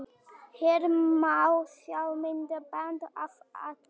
Hér má sjá myndband af atvikinu